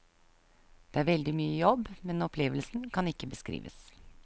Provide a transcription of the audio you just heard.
Det er veldig mye jobb, men opplevelsen kan ikke beskrives.